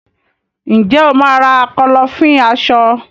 Ǹjẹ́ o máà ra Kọ́lọ́fín aṣọ?